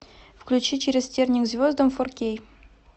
включи через тернии к звездам фор кей